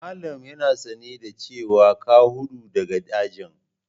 Malam yana sane da cewa ka hudu daga ajin?